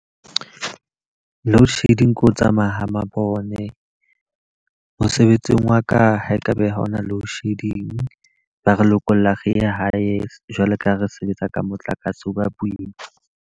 Load shedding ke ho tsamaya ha mabone. Mosebetsing wa ka, ha ekaba ha hona load shedding. Ba re lokolla re hae jwalo ka ha re sebetsa ka motlakase, ho ba boima.